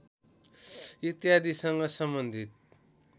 इत्यादीसँग सम्बन्धित